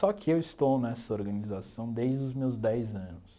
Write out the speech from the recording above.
Só que eu estou nessa organização desde os meus dez anos.